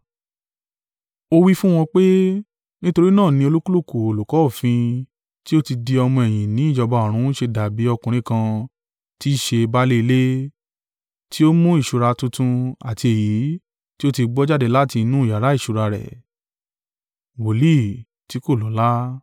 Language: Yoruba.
Ó wí fún wọn pé, “Nítorí náà ni olúkúlùkù olùkọ́ òfin tí ó ti di ọmọ-ẹ̀yìn ní ìjọba ọ̀run ṣe dàbí ọkùnrin kan tí í ṣe baálé ilé, tí ó mú ìṣúra tuntun àti èyí tí ó ti gbó jáde láti inú yàrá ìṣúra rẹ̀.”